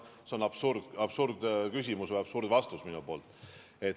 See on absurdküsimus või absurdvastus minu poolt.